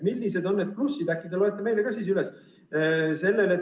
Millised on need plussid, äkki te loete need meile ka üles?